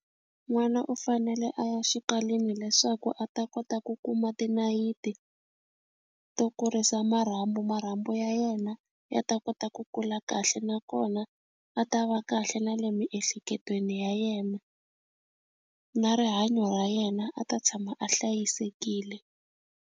N'wana u fanele a ya xikalwini leswaku a ta kota ku kuma tinayiti to kurisa marhambu marhambu ya yena ya ta kota ku kula kahle nakona a ta va kahle na le miehleketweni ya yena na rihanyo ra yena a ta tshama a hlayisekile.